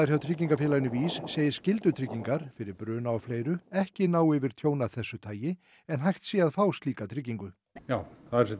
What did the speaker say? hjá tryggingafélaginu VÍS segir skyldutryggingar fyrir bruna og fleiru ekki ná yfir tjón af þessu tagi en hægt sé að fá slíka tryggingu já